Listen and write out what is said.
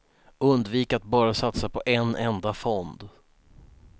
Undvik att bara satsa på en enda fond.